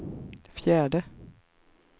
fjärde